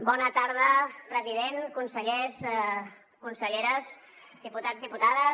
bona tarda president consellers conselleres diputats diputades